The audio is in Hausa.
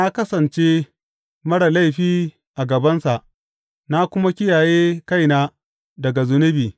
Na kasance marar laifi a gabansa na kuma kiyaye kaina daga zunubi.